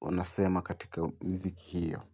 unasemwa katika miziki hiyo.